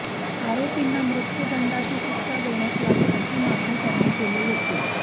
आरोपींना मृत्यूदंडीची शिक्षा देण्यात यावी अशी मागणी त्यांनी केली होती